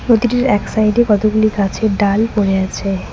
নদীটির এক সাইডে কতগুলি গাছের ডাল পড়ে আছে।